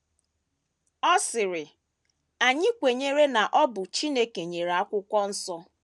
Ọ sịrị: “ Anyị kwenyere na ọ bụ Chineke nyere Akwụkwọ Nsọ...